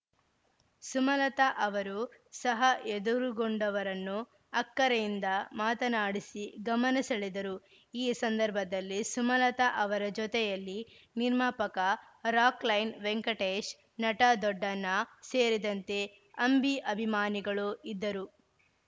ಸುಮಲತಾ ಅವರು ಸಹ ಎದುರುಗೊಂಡವರನ್ನು ಅಕ್ಕರೆಯಿಂದ ಮಾತನಾಡಿಸಿ ಗಮನ ಸೆಳೆದರು ಈ ಸಂದರ್ಭದಲ್ಲಿ ಸುಮಲತಾ ಅವರ ಜೊತೆಯಲ್ಲಿ ನಿರ್ಮಾಪಕ ರಾಕ್‌ಲೈನ್‌ ವೆಂಕಟೇಶ್‌ ನಟ ದೊಡ್ಡಣ್ಣ ಸೇರಿದಂತೆ ಅಂಬಿ ಅಭಿಮಾನಿಗಳು ಇದ್ದರು